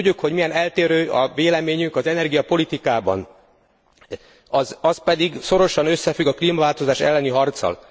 Tudjuk, hogy milyen eltérő a véleményünk az energiapolitikában. Az pedig szorosan összefügg a klímaváltozás elleni harccal.